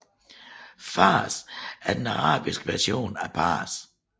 Fārs er den arabiske version af Pars